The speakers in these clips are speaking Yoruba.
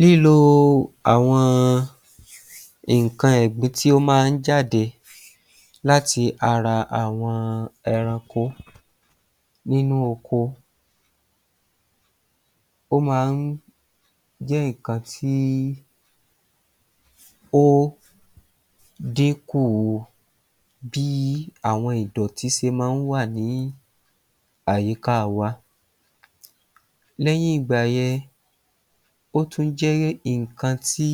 Lílo àwọn nǹkan ẹ̀gbin tí ó máa ń jáde láti ara àwọn ẹranko nínú oko, ó máa ń jẹ́ nǹkan tí ó dínkù bí àwọn ìdọ̀tí se máa ń wà ní àyíká wa. Lẹ́yìn ìgbà yẹn ó tún jẹ́ nǹkan tí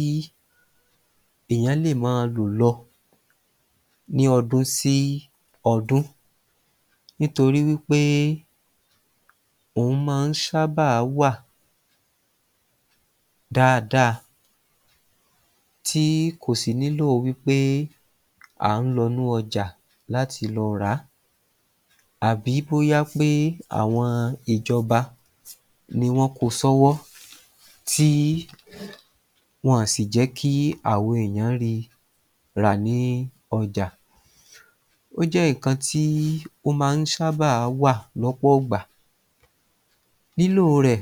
èèyàn lè máa lò lọ ní ọdún sí ọdún nítorí wí pé òhun máa ń ṣábà wà dáadáa tí kò sì nílò wí pé à ń lọ inú ọjà láti lọ ràá àbí bóyá pé àwọn ìjọba ni wọ́n ko sọ́wọ́ tí wọn sì jẹ́kí àwa èèyàn ri rà ní ọjà. Ó jẹ́ ìkan tí ó máa ń ṣábà wà lọ́pọ̀gbà. Lílò rẹ̀,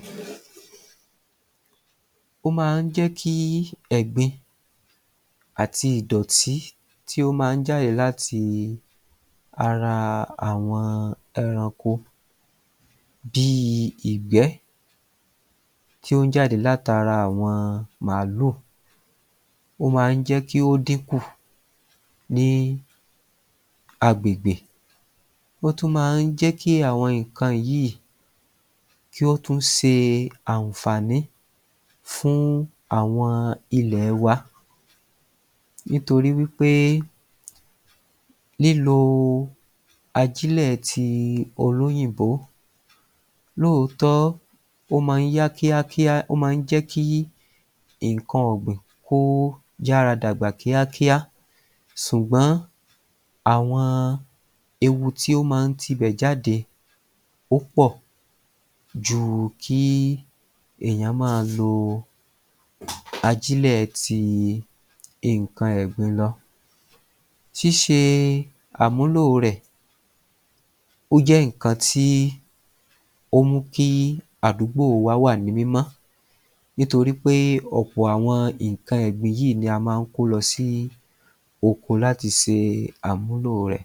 ó máa ń jẹ́kí ẹ̀gbin àti ìdọ̀tí tí ó máa ń jáde láti ara àwọn ẹranko bíi ìgbẹ́ tí ó ń jáde látara àwọn màálù. Ó máa ń jẹ́kí ó dínkù ní agbègbè. Ó tún máa ń jẹ́kí àwọn nǹkan yìí kí ó tún se àǹfààní fún àwọn ilẹ̀ wa nítorí wí pé lílo ajílẹ̀ ti olóyìnbó lóòótọ́, ó máa ń yá kíákíá, ó máa ń jẹ́kí nǹkan ọ̀gbìn kó yára dàgbà kíákíá sùgbọ́n àwọn eku tí ó máa ń tibẹ̀ jáde ó pọ̀ ju kí èèyàn máa lo ajílẹ̀ ti nǹkan ẹ̀gbin lọ. Ṣíṣe àmúlò rẹ̀ ó jẹ́ nǹkan tí ó mú kí àdúgbò wá wà ní mímọ́ nítorí pé ọ̀pọ̀ àwọn nǹkan ẹ̀gbin yìí ní a máa ń kó lọ si oko láti se àmúlò rẹ̀.